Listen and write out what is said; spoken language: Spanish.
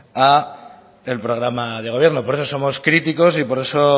al programa de gobierno por eso somos críticos y por eso